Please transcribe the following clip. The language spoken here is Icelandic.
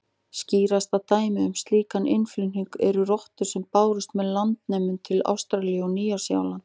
Skýrasta dæmið um slíkan innflutning eru rottur sem bárust með landnemum til Ástralíu og Nýja-Sjálands.